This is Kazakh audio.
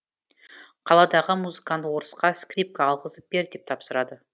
қаладағы музыкант орысқа скрипка алғызып бер деп тапсырады